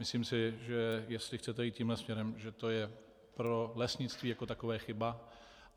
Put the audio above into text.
Myslím si, že jestli chcete jít tímto směrem, že to je pro lesnictví jako takové chyba.